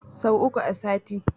Sau uku a sati.